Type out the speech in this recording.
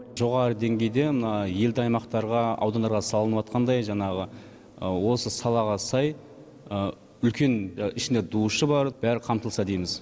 жоғары деңгейде мына елді аймақтарға аудандарға салыныватқандай жаңағы осы салаға сай үлкен ішінде душы бар бәрі қамтылса дейміз